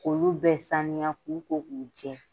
kK'olu bɛɛ saniya k'u ko k'u jɛ.